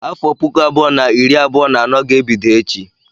Afọ puku abụọ na iri abụọ na anọ ga-ebido echi.